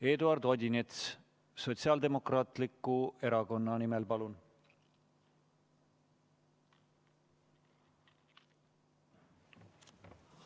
Eduard Odinets, Sotsiaaldemokraatliku Erakonna fraktsiooni nimel, palun!